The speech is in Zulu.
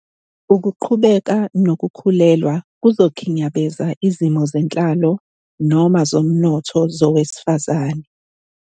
Ukuqhubeka nokukhulelwa kuzokhinyabeza izimo zenhlalo noma zomnotho zowesifazane.